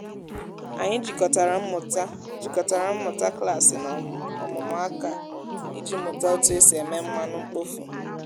anyị jikọtara mmụta jikọtara mmụta klasị na ọmụmụ aka iji mụta otu esi eme mmanụ mkpofu.